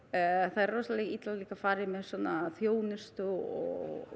það er rosalega illa farið með svona þjónustu og